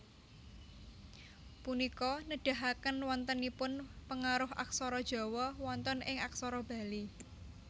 Punika nedahaken wontenipun pengaruh aksara Jawa wonten ing aksara Bali